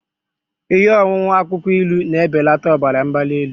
Ihe ọṅụṅụ akwukwo ilu na-ebelata ọbara mgbali elu